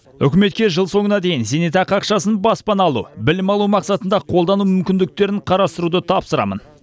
үкіметке жыл соңына дейін зейнетақы ақшасын баспана алу білім алу мақсатында қолдану мүмкіндіктерін қарастыруды тапсырамын